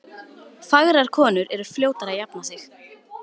Fagrar konur eru fljótari að jafna sig.